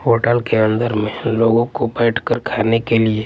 hotel के अंदर में लोगों को बैठकर खाने के लिए--